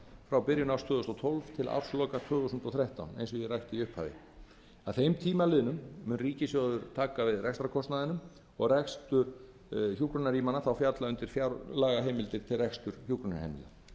frá byrjun árs tvö þúsund og tólf til ársloka tvö þúsund og þrettán að þeim tíma liðnum mun ríkissjóður taka við rekstrarkostnaðinum og rekstur þeirra þá falla undir fjárlagaheimildir til reksturs hjúkrunarheimila áætlað er